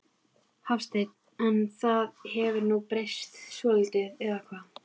Hafsteinn: En það hefur nú breyst svolítið eða hvað?